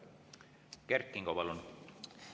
Kert Kingo, palun!